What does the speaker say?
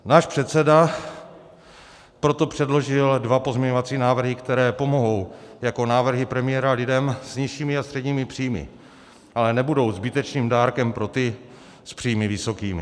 Náš předseda proto předložil dva pozměňovací návrhy, které pomohou jako návrhy premiéra lidem s nižšími a středními příjmy, ale nebudou zbytečným dárkem pro ty s příjmy vysokými.